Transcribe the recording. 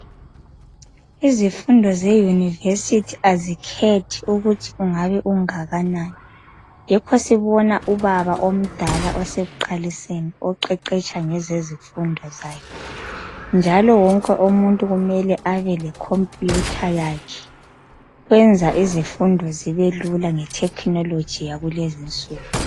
Izifundo zeyunivesithi azikhethi ukuthi ungabe ungakanani. Yikho sibona ubaba omdala osekuqaliseni, oqeqetsha ngezezifundo zakhe. Njalo wonke umuntu kumele abe lekhompuyutha yakhe, kwenza izifundo zibelula ngethekhinoloji yalezinsuku.